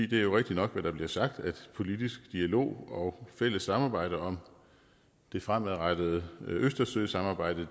det er jo rigtigt nok hvad der bliver sagt at politisk dialog og fælles samarbejde om det fremadrettede østersøsamarbejde